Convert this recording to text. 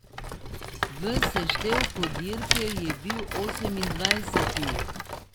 V seštevku dirke je bil osemindvajseti.